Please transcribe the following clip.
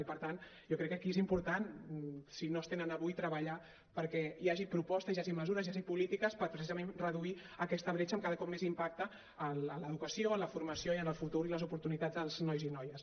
i per tant jo crec que aquí és important si no es tenen avui treballar perquè hi hagi propostes hi hagi mesures hi hagi polítiques per precisament reduir aquesta bretxa amb cada cop més impacte en l’educació en la formació i en el futur i les oportunitats dels nois i noies